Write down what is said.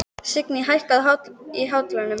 Signý, hækkaðu í hátalaranum.